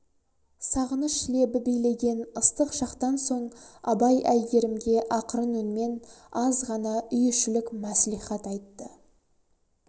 сағыныш лебі билеген ыстық шақтан соң абай әйгерімге ақырын үнмен аз ғана үй ішілік мәслихат айтты